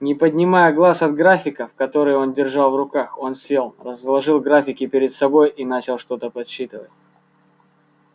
не поднимая глаз от графиков которые он держал в руках он сел разложил графики перед собой и начал что-то подсчитывать